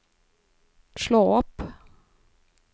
slå opp